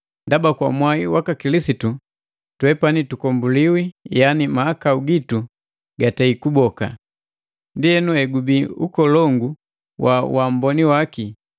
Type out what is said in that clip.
Ndaba kwa mwai waka Kilisitu twepani tukomboliwi yaani mahakau gitu gatei kuboka. Ndi egubii ukolongu wa uamboni waki,